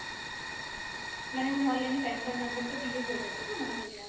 মানে কোনো online এ PAN card number টা দিলে হয়ে যাবে তো? মানে যেটা